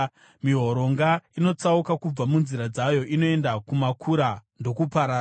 Mihoronga inotsauka kubva munzira dzayo; inoenda kumakura ndokuparara.